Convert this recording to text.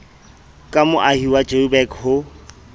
ka moahi wa joburg ho